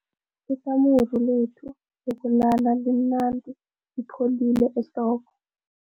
Ikamuru lethu lokulala limnandi lipholile ehlobo.